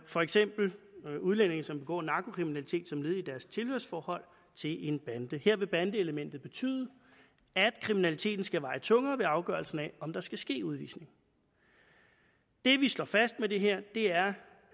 for eksempel om udlændinge som begår narkokriminalitet som led i deres tilhørsforhold til en bande her vil bandeelementet betyde at kriminaliteten skal veje tungere ved afgørelsen af om der skal ske udvisning det vi slår fast med det her er